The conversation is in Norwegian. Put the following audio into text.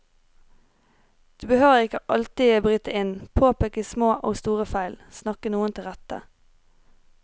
Du behøver ikke alltid bryte inn, påpeke små og store feil, snakke noen til rette.